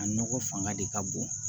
A nɔgɔ fanga de ka bon